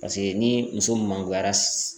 Paseke ni muso mankoyara